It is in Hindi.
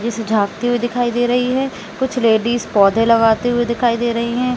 खिड़की से झाॅंकते हुए दिखाई दे रही कुछ लेडीज पौधे लगते हुए दिखाई दे रही है।